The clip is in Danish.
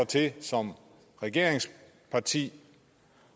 til som regeringsparti